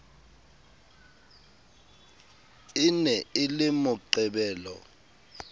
e ne e le moqebelo